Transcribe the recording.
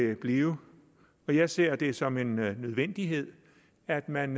vil blive jeg ser det som en nødvendighed at man